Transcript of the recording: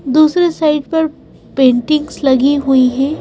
दूसरे साइड पर पेंटिंग्स लगी हुई है।